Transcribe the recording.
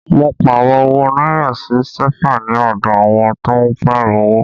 Mo Pààrọ̀ owó náírà sí sẹ́fà ní ọdọ àwọn tó ń Pààrọ̀ owó